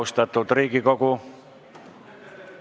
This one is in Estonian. Tere hommikust, austatud Riigikogu!